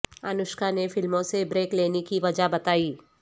انوشکا نے فلموں سے بریک لینے کی وجہ بتائی